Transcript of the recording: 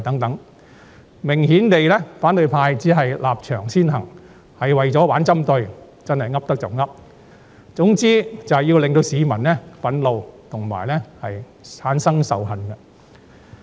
反對派明顯地只是立場先行，為了玩針對而"噏得就噏"，總言之，就是要令市民憤怒及產生仇恨。